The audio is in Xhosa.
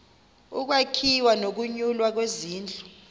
ukwakhiwa nokunyulwa kwezindlu